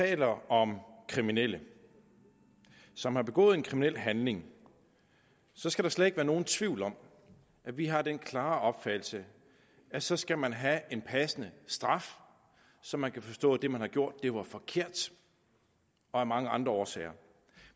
det handler om kriminelle som har begået en kriminel handling så skal der slet ikke være nogen tvivl om at vi har den klare opfattelse at så skal man have en passende straf så man kan forstå at det man har gjort var forkert og af mange andre årsager